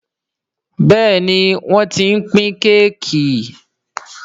Béèni wón t'in pin Kéèkì.